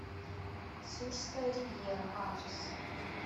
сурская ривьера адрес